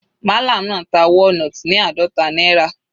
Mallam náà ta walnut ní àádọta náírà.